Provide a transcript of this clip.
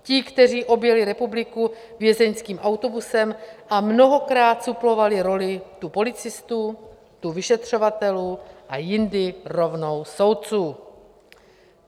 Ti, kteří objeli republiku vězeňským autobusem a mnohokrát suplovali roli tu policistů, tu vyšetřovatelů a jindy rovnou soudců?